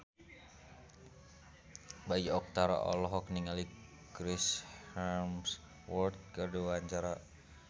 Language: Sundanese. Bayu Octara olohok ningali Chris Hemsworth keur diwawancara